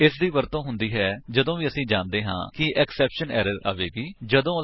ਇਸਦੀ ਵਰਤੋ ਹੁੰਦੀ ਹੈ ਜਦੋਂ ਵੀ ਅਸੀ ਜਾਣਦੇ ਹਾਂ ਕਿ ਐਕਸੈਪਸ਼ਨ ਐਰਰ ਨਿਸ਼ਚਿਤ ਰੂਪ ਵਿਚ ਆਵੇਗੀ